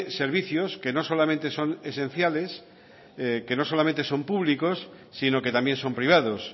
servicios que no solamente son esenciales que no solamente son públicos sino que también son privados